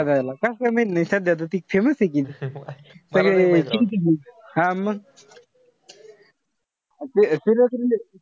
कस काय माहित नाई? सध्या त ती famous ए कि. हा मग. ते